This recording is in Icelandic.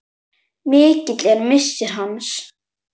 Mikill er missir hans.